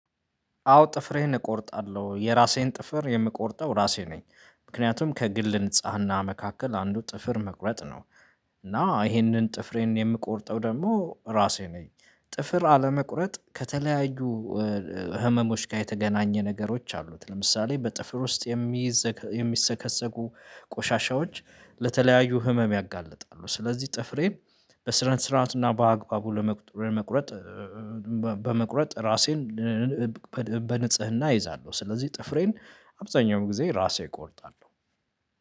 አዎ ጥፍሬን እቆርጣለሁ የራሴን ጥፍር የምቆርጠው ራሴ ነኝ ምክንያቱም ከግል ንጽህና መካከል አንዱ ጥፍር መቁረጥ ነው። እና ይሄንን ጥፍሬን የምቆርጠው ደግሞ ራሴ ነኝ። ጥፍር አለመቁረጥ ከተለያዩ ህመሞች ጋር የተገናኘ ነገሮች አሉት ለምሳሌ በጥፍር ውስጥ የሚይዝ የሚሰከሰቁ ቆሻሻዎች ለተለያዩ ህመም ያጋልጣሉ ስለዚህ ጥፍሬ በስነስርዓት እና በአግባቡ በመቁረጥ ራሴን በንጽህና አይዛለሁ። ስለዚህ ጥፍሬን አብዛኛውን ጊዜ ራሴ እቆርጣለሁ